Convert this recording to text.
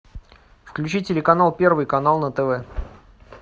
включи телеканал первый канал на тв